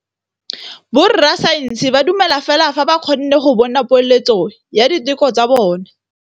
Borra saense ba dumela fela fa ba kgonne go bona poeletsô ya diteko tsa bone.